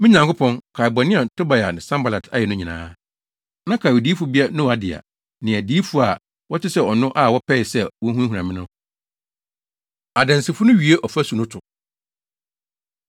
Me Nyankopɔn, kae bɔne a Tobia ne Sanbalat ayɛ no nyinaa. Na kae odiyifobea Noadia ne adiyifo a wɔte sɛ ɔno a wɔpɛe sɛ wohunahuna me no. Adansifo No Wie Ɔfasu No To